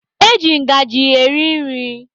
Eji ngaji eri nri.